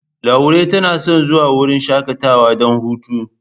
Laure na son zuwa wurin shakatawa don hutu.